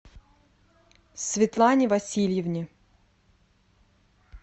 светлане васильевне